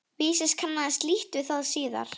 Vísis kannaðist lítt við það síðar.